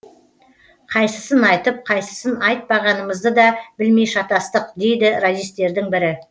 қайсысын айтып қайсысын айтпағанымызды да білмей шатастық дейді радистердің бірі